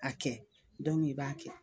A kɛ i b'a kɛ.